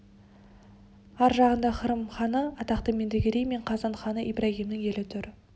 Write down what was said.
ар жағында қырым ханы атақты меңдігерей мен қазан ханы ибрагимның елі тұр